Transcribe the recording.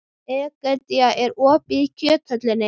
Egedía, er opið í Kjöthöllinni?